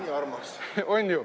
Nii armas.